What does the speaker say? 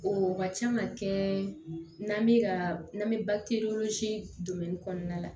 O ka ca ka kɛ n'an bɛ ka n'an bɛ bakiwsi kɔnɔna la